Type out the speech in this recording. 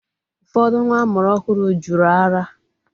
Ụfọdụ nwa amụrụ ọhụrụ jụrụ ara.